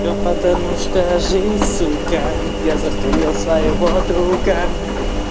всё потому что жизнь сука я застрелил своего друга